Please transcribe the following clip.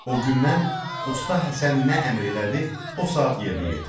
O gündən usta Həsən nə əmr elədi, o saat yerinə yetirdim.